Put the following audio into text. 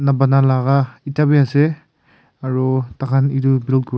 na bana laga etu bhi ase aru tah khan etu blue kure--